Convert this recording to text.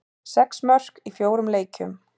Sex mörk í fjórum leikjum.